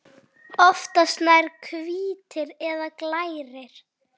Oftast nær hvítir eða glærir.